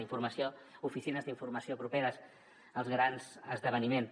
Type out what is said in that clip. informació oficines d’informació properes als grans esdeveniments